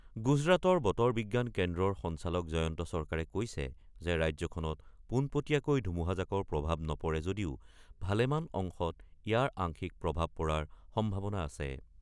গুজৰাটৰ বতৰ বিজ্ঞান কেন্দ্ৰৰ সঞ্চালক জয়ন্ত চৰকাৰে কৈছে যে ৰাজ্যখনত পোনপটীয়াকৈ ধুমুহাজাকৰ প্ৰভাৱ নপৰে যদিও ভালেমান অংশত ইয়াৰ আংশিক প্ৰভাৱ পৰাৰ সম্ভাৱনা আছে।